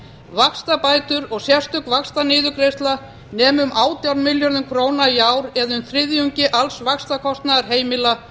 vaxtabætur og sérstök vaxtaniðurgreiðsla nema um átján milljörðum króna í ár eða um þriðjungi alls vaxtakostnaðar heimila